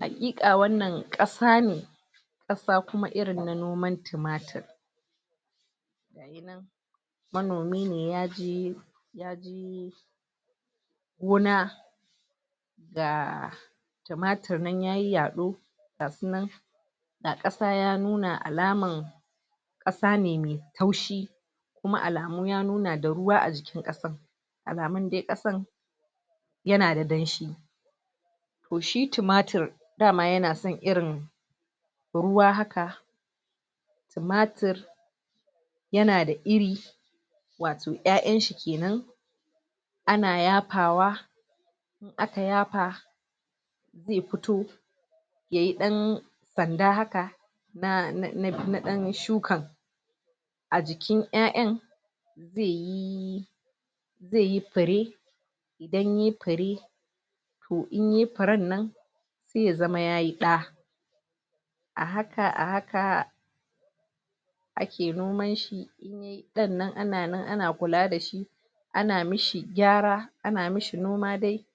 Haƙiƙa wannan ƙasa ne ƙasa kuma irin na noman timatir. Manomi ne ya je gona ga timatiri nan yayi yaɗo ga su nan ga ƙasa ya nuna alaman ƙasa me taushi kuma alamu ya nuna da ruwa a jikin ƙasan. Alamun dai ƙasan ya na da danshi. To shi tumatir, dama ya na son irin ruwa haka timatir ya na da iri wato ƴaƴan shi kenan. Ana yafawa aka yafa zai fito yayi ɗan sanda haka na na ɗan shukan. A jikin ƴaƴan, zai yi zai yi fure, idan yayi fure to in yayi furen nan sai ya zama yayi ɗa. A haka a haka ake noman shi ɗan nan ana nan ana kula da shi ana mishi gyara, ana mishi noma dai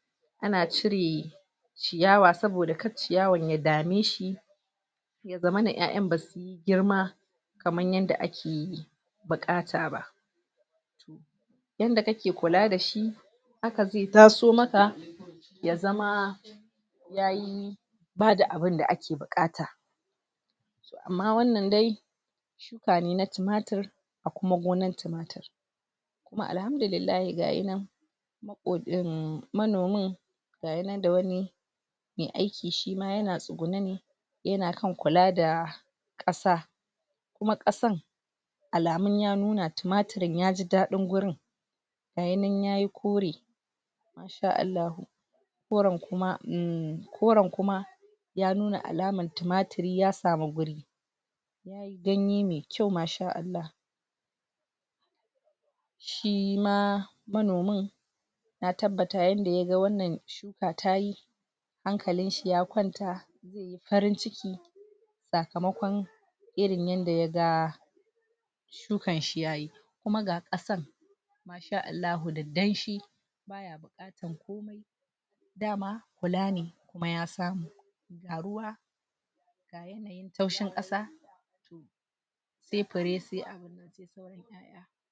ana cire ciyawa. Saboda kar ciyawan ya dame shi ya zamana ƴaƴan ba su yi girma kaman yanda ake buƙata ba. Yanda kake kula dashi haka zai taso maka ya zama yayi ba da abunda ake buƙata. Amma wannan dai shuka ne na timatir, a kuma gonan timatir. Kuma alhamdulillahi ga ya nan inm manomin ga ya nan da wani mai aiki shi ma ya na tsugune ne ya na kan kula da ƙasa. Kuma ƙasan alamu ya nuna tumatirin ya ji daɗin ga ya nan yayi kore koren kuma umm, koren kuma ya nuna alamar tumatiri ya samu wuri. Ganye mai kyau maa shaa Allah. Shi ma, manomin na tabbata yanda ya ga wannan gona tayi hankalin shi ya kwanta farin ciki sakamakon irin yanda ya ga shikan shi yayi. Kuma ga ƙasan mashaa Allahu da danshi dama kula ne, kuma ya samu. Ga ruwa taushin ƙasa se fure se